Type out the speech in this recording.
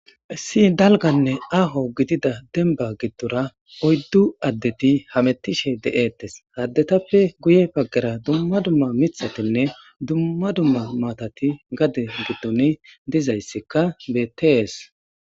Issi daliggane aho gidida demibba gade gidora oyiddu adeti hametishe betesi hayissatape guye baggara gade giddoni duma duma mithatinne mattati dizayisi bettesi